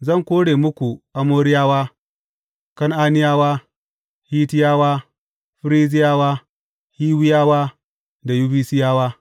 Zan kora muku Amoriyawa, Kan’aniyawa, Hittiyawa, Ferizziyawa, Hiwiyawa da Yebusiyawa.